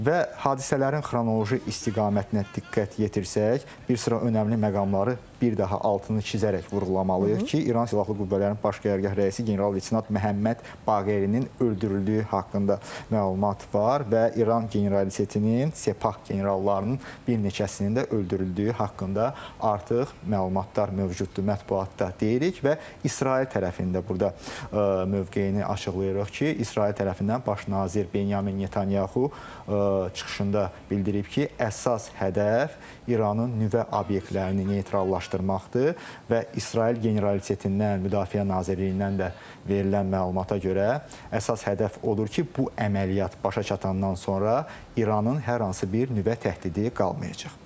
Və hadisələrin xronoloji istiqamətinə diqqət yetirsək, bir sıra önəmli məqamları bir daha altını xizərək vurğulamalıyıq ki, İran silahlı qüvvələrinin baş qərargah rəisi general İslam Məhəmməd Baqerinin öldürüldüyü haqqında məlumat var və İran generalitetinin, Sepah generallarının bir neçəsinin də öldürüldüyü haqqında artıq məlumatlar mövcuddur mətbuatda deyirik və İsrail tərəfi də burda mövqeyini açıqlayırıq ki, İsrail tərəfindən baş nazir Benyamin Netanyahu çıxışında bildirib ki, əsas hədəf İranın nüvə obyektlərini neytrallaşdırmaqdır və İsrail generalitetindən, Müdafiə Nazirliyindən də verilən məlumata görə əsas hədəf odur ki, bu əməliyyat başa çatandan sonra İranın hər hansı bir nüvə təhdidi qalmayacaq.